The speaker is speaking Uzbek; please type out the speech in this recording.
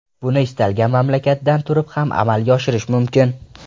Buni istalgan mamlakatdan turib ham amalga oshirish mumkin.